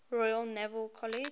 royal naval college